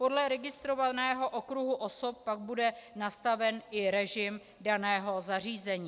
Podle registrovaného okruhu osob pak bude nastaven i režim daného zařízení.